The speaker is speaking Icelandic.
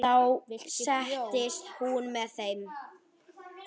Viltu bjór?